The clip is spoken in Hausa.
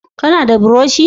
Ka na da buroshi?